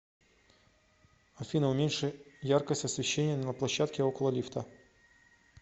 афина уменьши яркость освещения на площадке около лифта